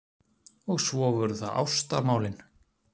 Og svo voru það ástamálin.